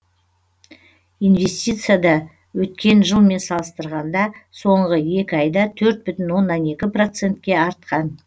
инвестиция да өткен жылмен салыстырғанда соңғы екі айда төрт бүтін оннан екі процентке артқан